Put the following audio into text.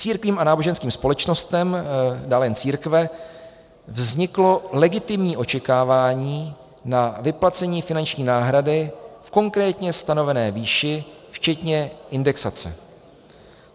Církvím a náboženským společnostem, dále jen církve, vzniklo legitimní očekávání na vyplacení finanční náhrady v konkrétně stanovené výši včetně indexace.